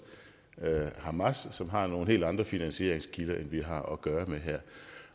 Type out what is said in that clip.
hamas som har nogle helt andre finansieringskilder end vi har at gøre med her